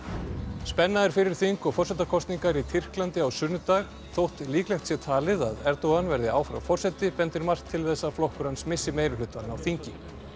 spenna er fyrir þing og forsetakosningum í Tyrklandi á sunnudag þótt líklegt sé talið að Erdogan verði áfram forseti bendir margt til þess að flokkur hans missi meirihlutann á þingi